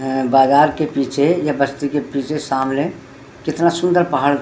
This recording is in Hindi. अं-बाजार के पीछे या बस्ती के पीछे सामने कितना सुंदर पहाड़ --